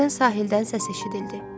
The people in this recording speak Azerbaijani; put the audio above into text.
Birdən sahildən səs eşidildi.